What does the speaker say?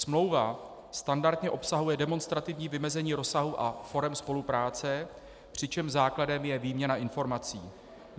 Smlouva standardně obsahuje demonstrativní vymezení rozsahu a forem spolupráce, přičemž základem je výměna informací.